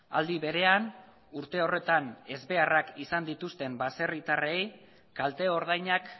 aldi berean urte horretan ezbeharrak izan dituzten baserritarrei kalte ordainak